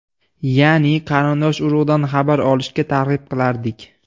Ya’ni qarindosh-urug‘dan xabar olishga targ‘ib qilardik.